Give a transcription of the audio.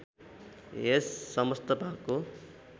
यस समस्त भागको